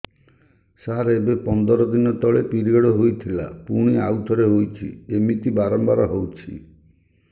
ସାର ଏବେ ପନ୍ଦର ଦିନ ତଳେ ପିରିଅଡ଼ ହୋଇଥିଲା ପୁଣି ଆଉଥରେ ହୋଇଛି ଏମିତି ବାରମ୍ବାର ହଉଛି